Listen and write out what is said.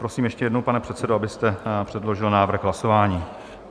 Prosím ještě jednou, pane předsedo, abyste předložil návrh hlasování.